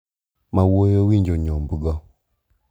Ma wuoyi owinjo nyombgo.